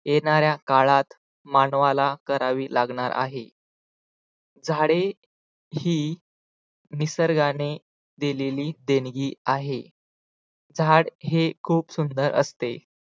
येणाऱ्या काळात मानवाला करावी लागणार आहे झाडे ही निसर्गाने दिलेली देणगी आहे. झाड हे खूप सुंदर असते.